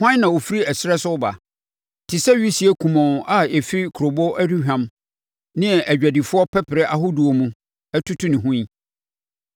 Hwan na ɔfiri ɛserɛ so reba te sɛ wisie kumɔnn a ɛfiri kurobo, aduhwam ne adwadifoɔ pɛprɛ ahodoɔ mu, atutu ne ho yi?